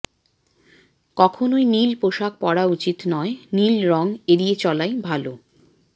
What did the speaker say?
কখনই নীল পোশাক পড়া উচিৎ নয় নীল রঙ এড়িয়ে চলাই ভাল